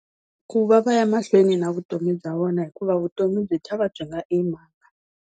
Ku va va ya mahlweni na vutomi bya vona hikuva vutomi byi e mhaka.